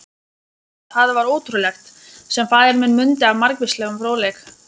Það var ótrúlegt, sem faðir minn mundi af margvíslegum fróðleik.